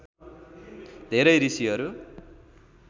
धेरै ऋषिहरू